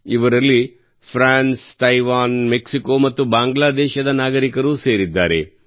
ಇವರಲ್ಲಿ France Taiwan Mexico ಮತ್ತು ಬಾಂಗ್ಲಾದೇಶದ ನಾಗರಿಕರೂ ಸೇರಿದ್ದಾರೆ